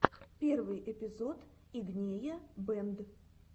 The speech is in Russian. первый эпизод игнея бэнд